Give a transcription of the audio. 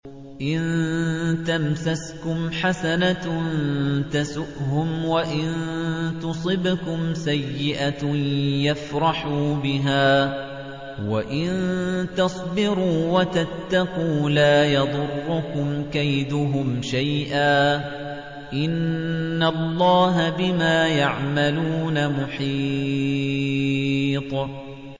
إِن تَمْسَسْكُمْ حَسَنَةٌ تَسُؤْهُمْ وَإِن تُصِبْكُمْ سَيِّئَةٌ يَفْرَحُوا بِهَا ۖ وَإِن تَصْبِرُوا وَتَتَّقُوا لَا يَضُرُّكُمْ كَيْدُهُمْ شَيْئًا ۗ إِنَّ اللَّهَ بِمَا يَعْمَلُونَ مُحِيطٌ